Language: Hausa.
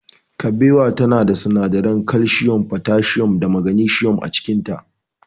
Kabewa tana da sinadaran kalsiyum, fotasiyum da magnisiyum a cikinta.